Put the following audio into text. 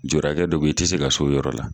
Juru hakɛ dɔ be yen i tɛ se ka se o yɔrɔ la